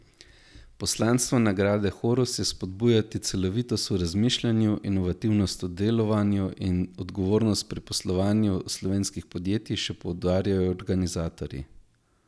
Poslanstvo nagrade horus je spodbujati celovitost v razmišljanju, inovativnost v delovanju in odgovornost pri poslovanju slovenskih podjetij, še poudarjajo organizatorji.